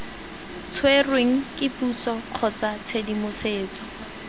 tshwerweng ke puso kgotsa tshedimosetso